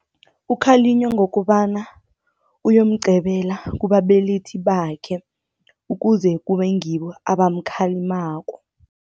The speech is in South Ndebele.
Ukhalinywa ngokobana uyomcebela kubabelethi bakhe, ukuze kube ngibo abamkhalimako.